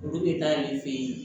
Olu bɛ taa ale fɛ ye